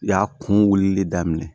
Y'a kun wulili daminɛ